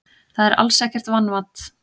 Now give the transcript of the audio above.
Það er alls ekkert vanmat.